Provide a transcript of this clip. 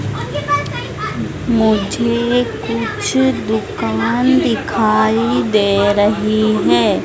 मुझे कुछ दुकान दिखाई दे रही है।